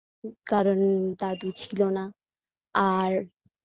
কারন দাদু ছিল না আর